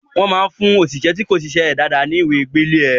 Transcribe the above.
Wọ́n máa fún òṣìṣé tí kò bá ṣiṣẹ́ rẹ̀ dáadáa ní ìwé gbélé ẹ.